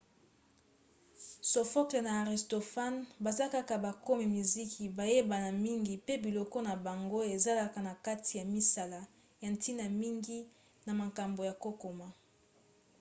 sophocle na aristophane baza kaka bakomi miziki bayebana mingi pe biloko na bango ezalaka na kati ya misala ya ntina mingi na mankombo ya kokoma